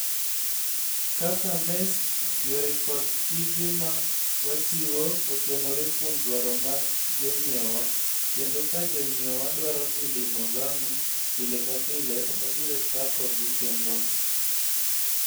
Kaka Maersk, yore kod tije ma wachiwo otenore kuom dwaro mag jonyiewowa, kendo ka jonyiewowa dwaro dhi limo Lamu pile ka pile, wabiro chako gi chenrono.